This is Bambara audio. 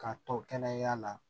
K'a tɔ kɛnɛ yaala la